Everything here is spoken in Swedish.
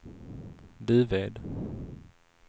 Duved